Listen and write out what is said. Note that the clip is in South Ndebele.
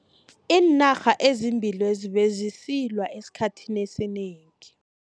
Iinarha ezimbili lezi bezisilwa esikhathini esinengi.